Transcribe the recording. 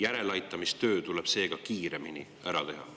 Järeleaitamistöö tuleb seega kiiremini ära teha.